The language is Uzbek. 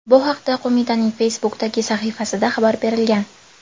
Bu haqda qo‘mitaning Facebook’dagi sahifasida xabar berilgan .